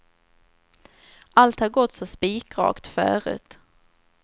Allt har gått så spikrakt förut.